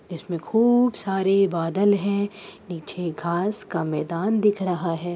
इसमें खूब सारे बादल हैं। नीचे घांस का मैदान दिख रहा है।